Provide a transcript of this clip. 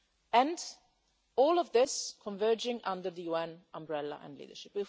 work and all of this converging under the UN umbrella and leadership.